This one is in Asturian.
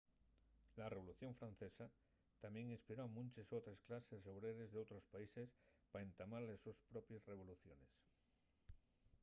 la revolución francesa tamién inspiró a munches otres clases obreres d'otros países pa entamar les sos propies revoluciones